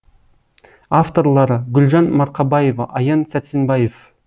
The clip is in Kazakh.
авторлары гүлжан марқабаева аян сәрсенбаев